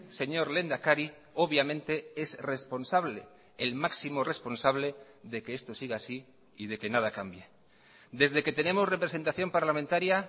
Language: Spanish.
señor lehendakari obviamente es responsable el máximo responsable de que esto siga así y de que nada cambie desde que tenemos representación parlamentaria